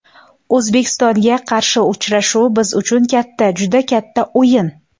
O‘zbekistonga qarshi uchrashuv biz uchun katta, juda katta o‘yin.